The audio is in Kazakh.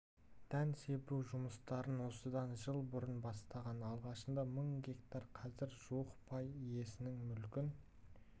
дән себу жұмыстарын осыдан жыл бұрын бастаған алғашында мың гектар қазір жуық пай иесінің мүлкін